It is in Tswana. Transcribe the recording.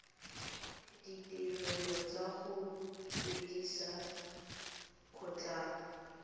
ditirelo tsa go fedisa kgotlang